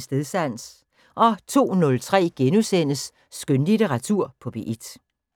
Stedsans * 02:03: Skønlitteratur på P1 *